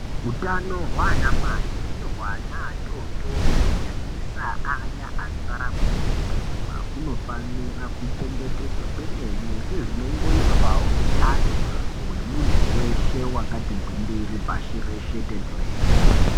Utano hwanamai nehwana atotori kunyanyisa aya anorarama ngeurema. Hunofanira kuchengetsedzwa kwemene sezvinongoitwavo utano hwemuntu veshe, vakati gwindiri pashi reshe tenderere.